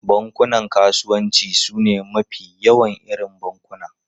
Bankunan kasuwanci sune mafi yawan irin bankuna.